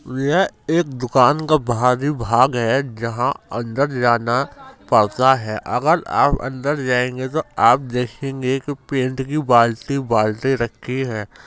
यह एक दुकान का बाहरी भाग है जहां अंदर जाना पड़ता है अगर आप अंदर जायेंगे तो आप देखेंगे की पेंट की बाल्टी- बाल्टी रखी है।